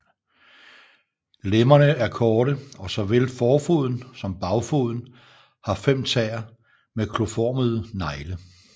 Lemmerne er korte og såvel forfoden som bagfoden har fem tæer med kloformede negle